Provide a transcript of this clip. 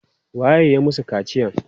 Waye ya masu kaciyan?